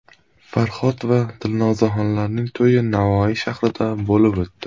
Farhod va Dilnozaxonlarning to‘yi Navoiy shahrida bo‘lib o‘tdi.